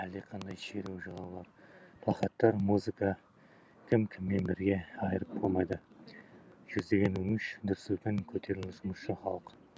әлдеқандай шеру жалаулар плакаттар музыка кім кіммен бірге айырып болмайды жүздеген өңіш дүр сілкін көтеріл жұмысшы халық